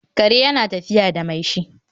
kare yana tafiya da mai shi